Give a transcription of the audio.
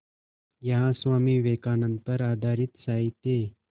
यहाँ स्वामी विवेकानंद पर आधारित साहित्य